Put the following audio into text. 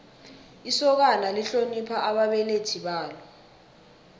isokana lihlonipha ababelethi balo